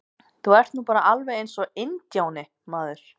Þú ert nú bara alveg eins og INDJÁNI, maður!